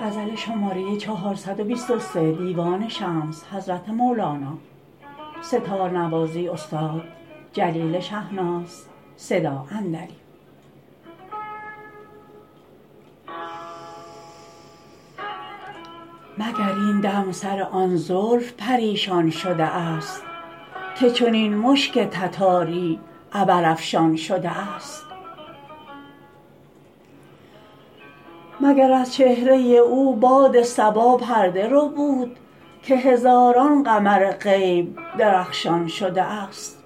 مگر این دم سر آن زلف پریشان شده است که چنین مشک تتاری عبرافشان شده است مگر از چهره او باد صبا پرده ربود که هزاران قمر غیب درخشان شده است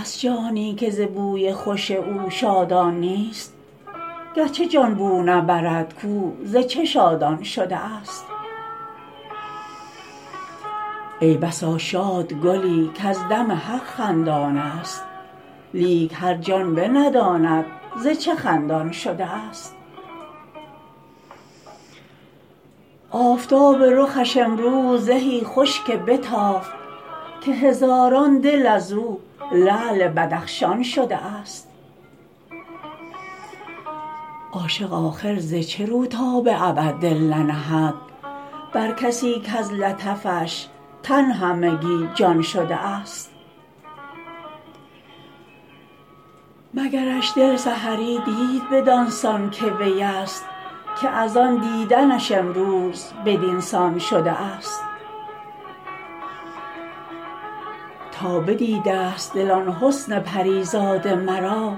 هست جانی که ز بوی خوش او شادان نیست گرچه جان بو نبرد کو ز چه شادان شده است ای بسا شاد گلی کز دم حق خندان است لیک هر جان بنداند ز چه خندان شده است آفتاب رخش امروز زهی خوش که بتافت که هزاران دل از او لعل بدخشان شده است عاشق آخر ز چه رو تا به ابد دل ننهد بر کسی کز لطفش تن همگی جان شده است مگرش دل سحری دید بدان سان که وی است که از آن دیدنش امروز بدین سان شده است تا بدیده است دل آن حسن پری زاد مرا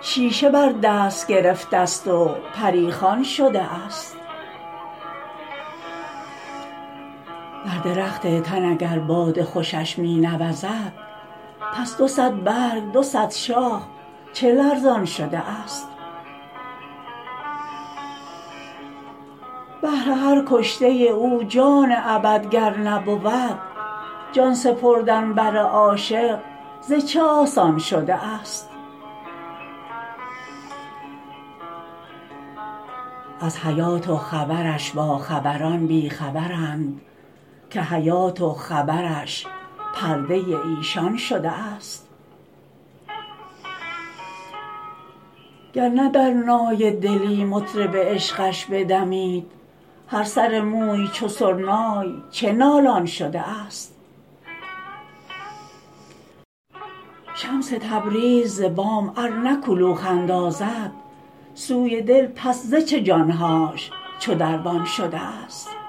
شیشه بر دست گرفته است و پری خوان شده است بر درخت تن اگر باد خوشش می نوزد پس دو صد برگ دو صد شاخ چه لرزان شده است بهر هر کشته او جان ابد گر نبود جان سپردن بر عاشق ز چه آسان شده است از حیات و خبرش باخبران بی خبرند که حیات و خبرش پرده ایشان شده است گر نه در نای دلی مطرب عشقش بدمید هر سر موی چو سرنای چه نالان شده است شمس تبریز ز بام ار نه کلوخ اندازد سوی دل پس ز چه جان هاش چو دربان شده است